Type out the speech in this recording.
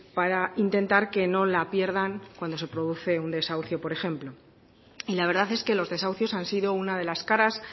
para intentar que no la pierdan cuando se produce un desahucio por ejemplo y la verdad es que los desahucios han sido una de las caras